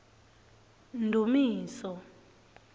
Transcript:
ndumiso